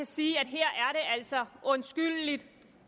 sige at det altså er undskyldeligt